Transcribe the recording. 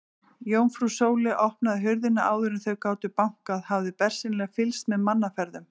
Jómfrú Sóley opnaði hurðina áður en þau gátu bankað, hafði bersýnilega fylgst með mannaferðum.